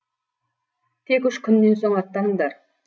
тек үш күннен соң аттаныңдар